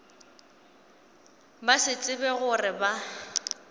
ba se tsebe gore ba